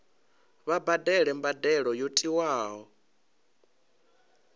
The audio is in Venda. vha badele mbadelo yo tiwaho